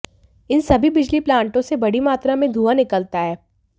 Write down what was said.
इन सभी बिजली प्लांटों से बड़ी मात्रा में धुआं निकलता है